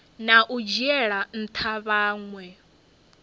na u dzhiela ntha vhanwe